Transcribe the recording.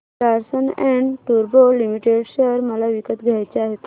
Larsen and टुर्बो limited share मला विकत घ्यायचे आहेत